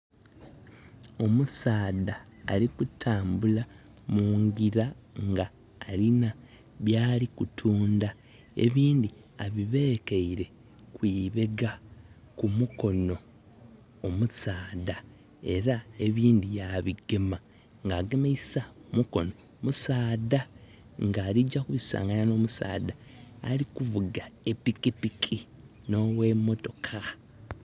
Omusaadha ali kutambula munjira ng' alina byali kutunda. Ebindhi abibekeire kwi beega ku mukono omusaadha era ebindhi ya bigema nga agemeisa mukono musaadha nga alijja kubisanganya no musaadha ali kuvuga epikipiki nowe mmotoka